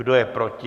Kdo je proti?